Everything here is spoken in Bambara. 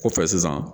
Kɔfɛ sisan